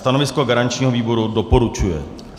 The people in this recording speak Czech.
Stanovisko garančního výboru: doporučuje.